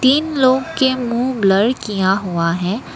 तीन लोग के मुंह ब्लर किया हुआ है।